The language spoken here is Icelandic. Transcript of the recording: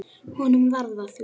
Honum varð að því.